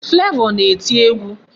Flavor na-eti egwu.